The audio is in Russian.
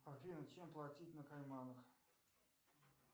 афина чем платить на кайманах